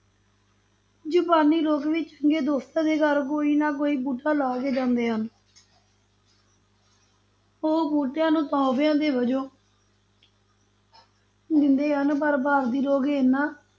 ਜਪਾਨੀ ਲੋਕ ਵੀ ਚੰਗੇ ਦੋਸਤਾਂ ਦੇ ਘਰ ਕੋਈ ਨਾ ਕੋਈ ਬੂਟਾ ਲੈ ਕੇ ਜਾਂਦੇ ਹਨ ਉਹ ਬੂਟਿਆਂ ਨੂੰ ਤੋਹਫ਼ਿਆਂ ਦੇ ਵਜੋਂ ਦਿੰਦੇ ਹਨ ਪਰ ਭਾਰਤੀ ਲੋਕ ਇੰਨਾ